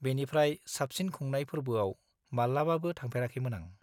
बेनिफ्राय साबसिन खुंनाय फोरबोआव मालाबाबो थांफेराखैमोन आं।